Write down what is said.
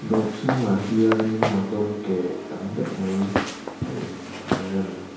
dawr chhungah hianin motor ke tam deuh mai a inrem.